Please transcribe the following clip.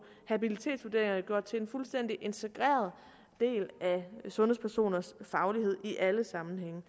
habilitetsvurderingerne gjort til en fuldstændig integreret del af sundhedspersoners faglighed i alle sammenhænge